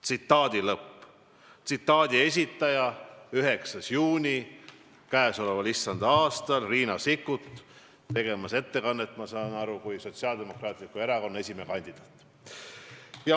" Nii rääkis 9. juunil käesoleval issanda aastal Riina Sikkut, tehes ettekannet, ma saan nii aru, kui Sotsiaaldemokraatliku Erakonna esimehe kandidaat.